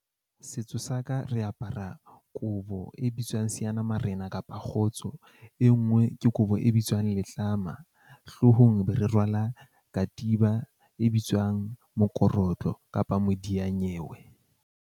Setso sa ka re apara kobo e bitswang seanamarena kapa kgotso e nngwe, ke kobo e bitswang letlama. Hloohong be re rwala katiba e bitswang mokorotlo kapa modiyanyewe.